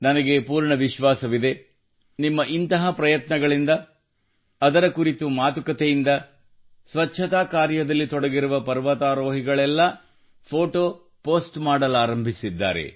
ನನಗೆ ಪೂರ್ಣ ವಿಶ್ವಾಸವಿದೆ ನಿಮ್ಮ ಇಂತಹ ಪ್ರಯತ್ನಗಳಿಂದ ಅದರ ಕುರಿತ ಮಾತುಕತೆಯಿಂದ ಸ್ವಚ್ಛತಾ ಕಾರ್ಯದಲ್ಲಿ ತೊಡಗಿರುವ ಪರ್ವತಾರೋಹಿಗಳೆಲ್ಲಾ ಫೋಟೋ ಪೋಸ್ಟ್ ಮಾಡಲಾರಂಭಿಸಿದ್ದಾರೆ